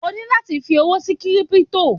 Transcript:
O ní láti fi owó sí Kírípútò.